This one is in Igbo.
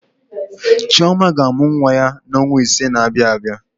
Chioma ga-amụ nwa ya n'ọnwa ise na-abịa abịa.